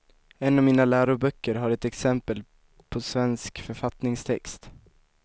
En av mina läroböcker har ett exempel på svensk författningstext.